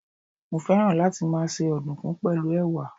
Mo féràn láti máa se ọ̀dùnkún pẹ̀lú Ẹ̀wà.